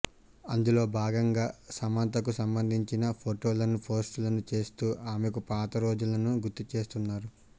అందులో భాగంగా సమంతకు సంబందించిన ఫోటోలను పోస్ట్ చేస్తూ ఆమెకు పాత రోజులను గుర్తు చేస్తున్నారు